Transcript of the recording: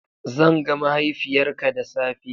Zan ga mahaifiyarka da safe.